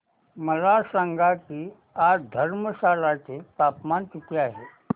मला सांगा की आज धर्मशाला चे तापमान किती आहे